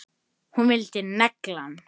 Hún vildi negla hann!